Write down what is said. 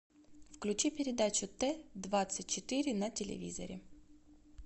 включи передачу т двадцать четыре на телевизоре